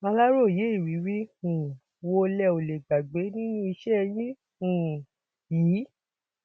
aláròye ìrírí um wo lẹ ò lè gbàgbé nínú iṣẹ yín um yìí